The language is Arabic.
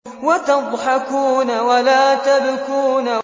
وَتَضْحَكُونَ وَلَا تَبْكُونَ